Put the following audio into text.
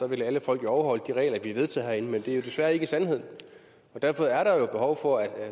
ville alle folk jo overholde de regler vi har vedtaget herinde men det er jo desværre ikke sandheden derfor er der jo behov for at